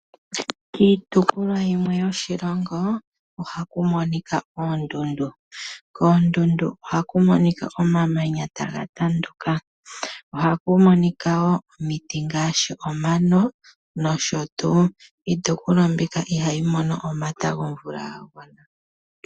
Kiitopolwa yimwe yoshilongo. Ohaku monika oondundu. Koondundu ohaku monika omamanya ga tanduka . Ohaku monika woo omiti ngaashi omano nosho tuu. Iitopolwa mbika ihayi mono omata gomvula gagwana.